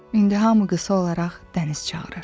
İndi hamı qısa olaraq dəniz çağırır.